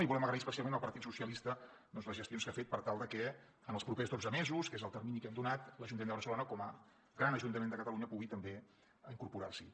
i volem agrair especialment al partit socialista les gestions que ha fet per tal de que en els propers dotze mesos que és el termini que hem donat l’ajuntament de barcelona com a gran ajuntament de catalunya pugui també incorporar s’hi